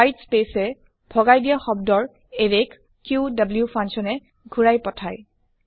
white space এ ভগাই দিয়া শব্দ ৰ এৰে ক ক্যু ফাংচন এ ঘুৰাই পথাই